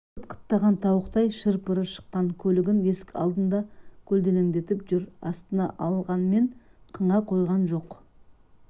қыт-қыттаған тауықтай шыр-пыры шыққан көлігін есік алдына көлденеңдетіп жүр астына алғанмен қыңа қойған жоқ